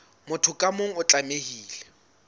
motho ka mong o tlamehile